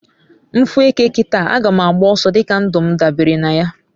m fu eke kita, aga ma agba oso dika ndum dabere naya